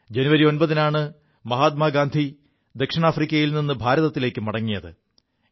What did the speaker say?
ജനുവരി 9 നാണ് മഹാത്മാഗന്ധി ദക്ഷിണാഫ്രിക്കയിൽ നി് ഭാരതത്തിലേക്കു മടങ്ങിയത്